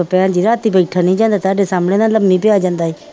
ਰਾਤੀ ਬੈਠਣ ਨੀ ਜਾਂਦਾ ਤੁਹਾਡਾ ਸਾਹਮਣੇ ਨਾ ਲੰਮੀ ਪਿਆ ਜਾਂਦਾ ਸੀ